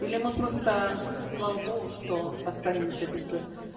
или мы просто слава богу что останемся без